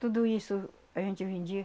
Tudo isso a gente vendia.